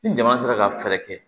Ni jama sera ka fɛɛrɛ kɛ